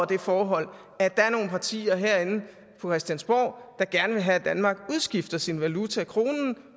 det forhold at der er nogle partier herinde på christiansborg der gerne vil have at danmark udskifter sin valuta kronen